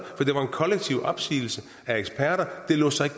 kollektiv opsigelse fra eksperter det lod sig